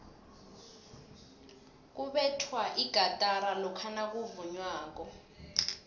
kubethwa igatara lokha nakuvunywako